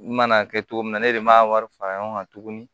N mana kɛ cogo min na ne de ma wari fara ɲɔgɔn kan tuguni